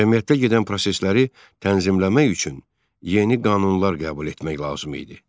Cəmiyyətdə gedən prosesləri tənzimləmək üçün yeni qanunlar qəbul etmək lazım idi.